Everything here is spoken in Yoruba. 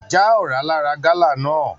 Já ọra lara gala náà!